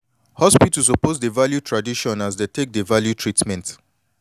hospital suppose dey value tradition as dey take dey value treatment